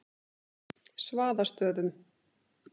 Svaðastöðum